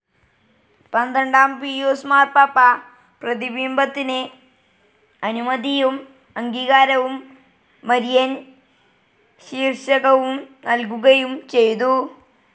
പന്ത്രണ്ടാം പീയൂസ് മാർപ്പാപ്പ പ്രതിബിംബത്തിന് അനുമതിയും അംഗീകാരവും മരിയൻ ശീർഷകവും നൽകുകയും ചെയ്തു.